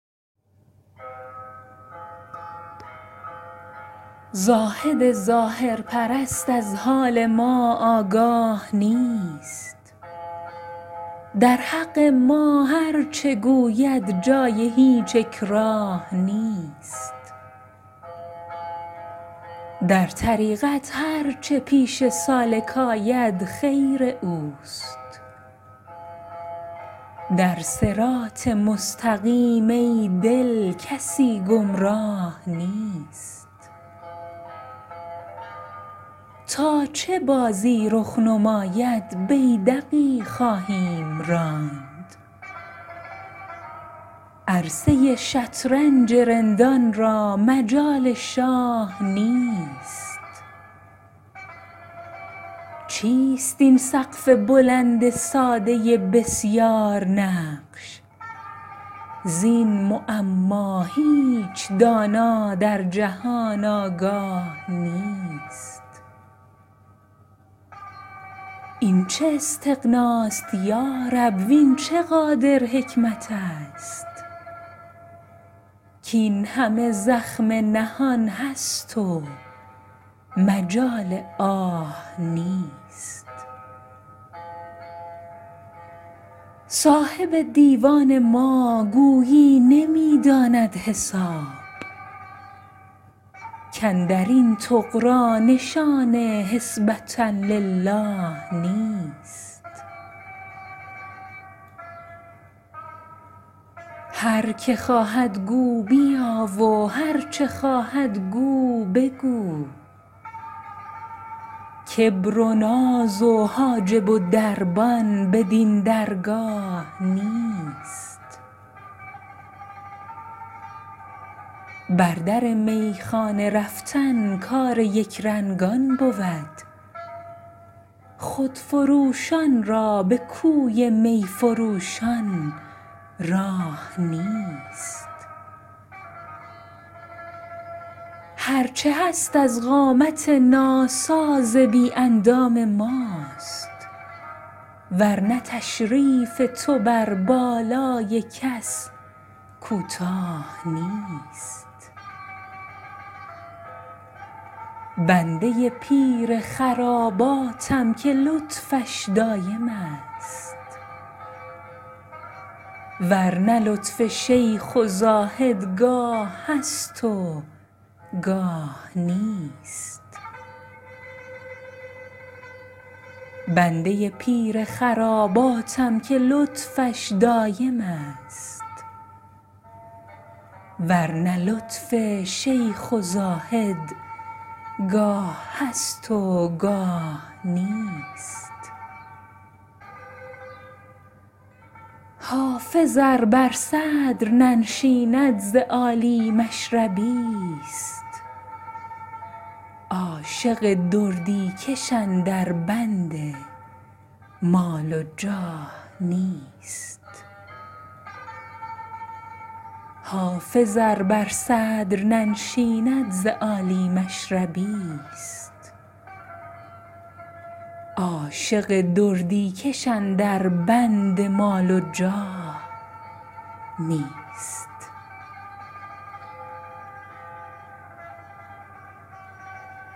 زاهد ظاهرپرست از حال ما آگاه نیست در حق ما هرچه گوید جای هیچ اکراه نیست در طریقت هرچه پیش سالک آید خیر اوست در صراط مستقیم ای دل کسی گمراه نیست تا چه بازی رخ نماید بیدقی خواهیم راند عرصه ی شطرنج رندان را مجال شاه نیست چیست این سقف بلند ساده بسیارنقش زین معما هیچ دانا در جهان آگاه نیست این چه استغناست یا رب وین چه قادر حکمت است کاین همه زخم نهان است و مجال آه نیست صاحب دیوان ما گویی نمی داند حساب کاندر این طغرا نشان حسبة للٰه نیست هر که خواهد گو بیا و هرچه خواهد گو بگو کبر و ناز و حاجب و دربان بدین درگاه نیست بر در میخانه رفتن کار یکرنگان بود خودفروشان را به کوی می فروشان راه نیست هرچه هست از قامت ناساز بی اندام ماست ور نه تشریف تو بر بالای کس کوتاه نیست بنده ی پیر خراباتم که لطفش دایم است ور نه لطف شیخ و زاهد گاه هست و گاه نیست حافظ ار بر صدر ننشیند ز عالی مشربی ست عاشق دردی کش اندر بند مال و جاه نیست